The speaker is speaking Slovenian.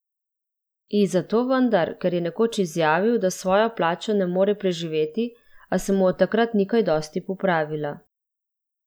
I, zato vendar, ker je nekoč izjavil, da s svojo plačo ne more preživeti, a se mu od takrat ni kaj dosti popravila.